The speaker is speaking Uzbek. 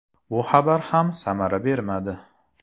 Bu xabar ham samara bermadi.